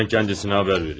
Mən ona xəbər verim.